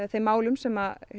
þeim málum sem